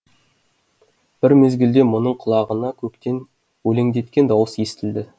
бір мезгілде мұның құлағына көктен өлеңдеткен дауыс естілді